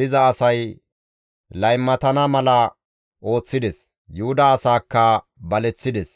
diza asay laymatana mala ooththides; Yuhuda asaakka baleththides.